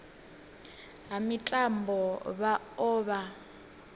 ha mitambo vha o vha